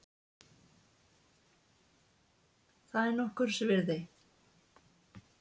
Það er nokkurs virði.